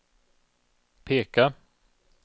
peka